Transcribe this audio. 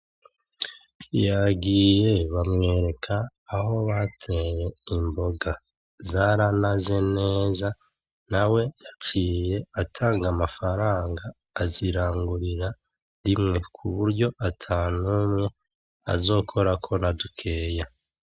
Yagiye bamwereka aho bateye imboga . Zaranaze neza, nawe yaciye atanga amafaranga ,azirangurira rimwe; kuburyo atanumwe azokorako nadukeya.